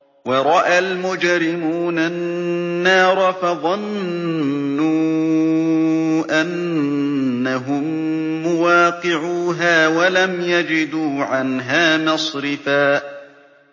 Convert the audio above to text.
وَرَأَى الْمُجْرِمُونَ النَّارَ فَظَنُّوا أَنَّهُم مُّوَاقِعُوهَا وَلَمْ يَجِدُوا عَنْهَا مَصْرِفًا